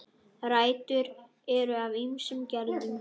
Rætur eru af ýmsum gerðum